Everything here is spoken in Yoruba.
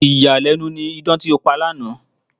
Ìyàlẹ́nu ni idán tí ó pa lánàá.